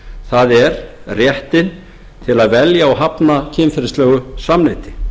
það er réttinn til að velja og hafna kynferðislegu samneyti